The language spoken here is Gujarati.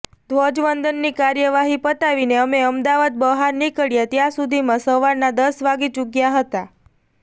ધ્વજવંદનની કાર્યવાહી પતાવીને અમે અમદાવાદ બહાર નીકળ્યા ત્યાં સુધીમાં સવારના દસ વાગી ચૂક્યા હતા